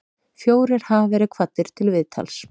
Fjórir hafa verið kvaddir til viðtals